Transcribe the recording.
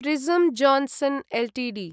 prism Johnson Ltd